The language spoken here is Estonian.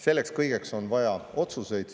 Selleks kõigeks on vaja otsuseid.